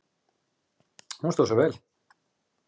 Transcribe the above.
Hún stóð sig vel.